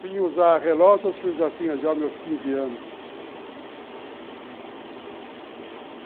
Vim usar relógios acho que eu já tinha os meus quinze anos.